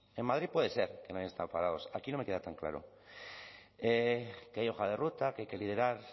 en madrid puede ser que no hayan estado parados aquí no me queda tan claro que hay hoja de ruta que hay que liderar